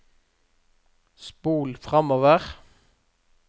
spol framover